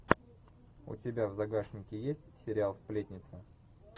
у тебя в загашнике есть сериал сплетница